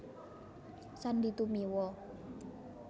Sandy Tumiwa